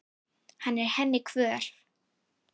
Hann er henni kvöl.